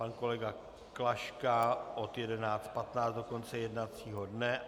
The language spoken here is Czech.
Pan kolega Klaška od 11.15 do konce jednacího dne.